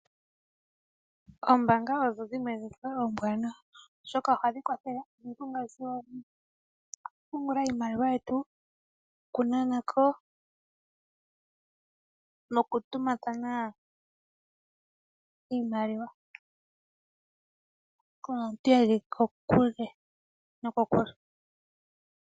Oombanga odho dhimwe dhoka oombwanawa oshoka ohadhi kwathele ngaashi oku pungula iimaliwa yetu, oku yi na na ko , noku tumina thana iimaliwa.